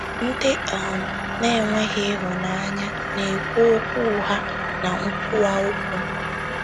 Ndị um na-enweghị ịhụnanya na-ekwu okwu ụgha na nkwuwa okwu.